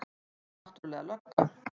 Þú ert náttúrlega lögga.